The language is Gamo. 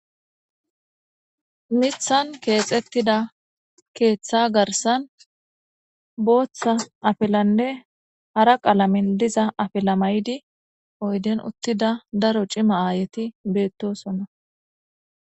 Mithan kexetida ketha garsan botha afilanne hara qalamen diza afila ma'idi oydiyan utida daro c'ima ayeti betosona.